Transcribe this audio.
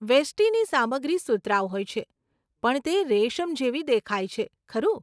વેષ્ટિની સામગ્રી સુતરાઉ હોય છે, પણ તે રેશમ જેવી દેખાય છે, ખરું?